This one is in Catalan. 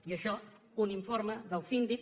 i això un informe del síndic